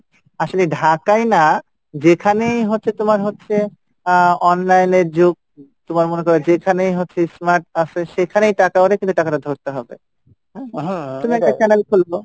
আসলে ঢাকায় না যেখানেই হচ্ছে তোমার হচ্ছে আহ online এর যুগ তুমার মনে করো যেখানেই হচ্ছে smart আসে সেখানেই টাকা হলে টাকাটা কিন্তু ধরতে হবে তুমি একটা channel খুলবে,